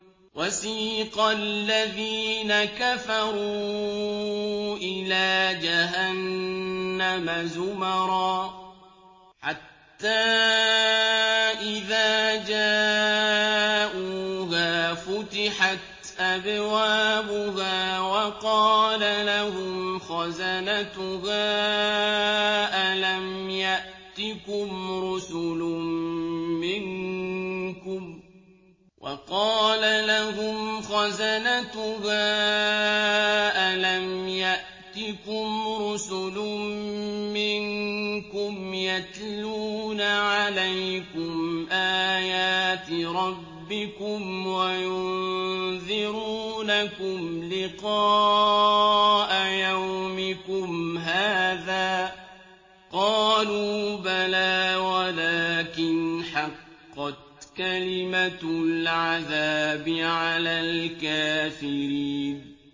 وَسِيقَ الَّذِينَ كَفَرُوا إِلَىٰ جَهَنَّمَ زُمَرًا ۖ حَتَّىٰ إِذَا جَاءُوهَا فُتِحَتْ أَبْوَابُهَا وَقَالَ لَهُمْ خَزَنَتُهَا أَلَمْ يَأْتِكُمْ رُسُلٌ مِّنكُمْ يَتْلُونَ عَلَيْكُمْ آيَاتِ رَبِّكُمْ وَيُنذِرُونَكُمْ لِقَاءَ يَوْمِكُمْ هَٰذَا ۚ قَالُوا بَلَىٰ وَلَٰكِنْ حَقَّتْ كَلِمَةُ الْعَذَابِ عَلَى الْكَافِرِينَ